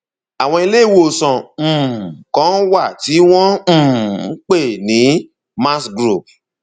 àwọn ilé ìwòsàn um kan wà tí wọn um ń pè ní max group